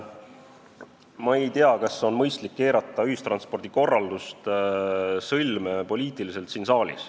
Ma ei tea, kas on mõistlik siin saalis keerata ühistranspordikorraldus poliitiliselt sõlme.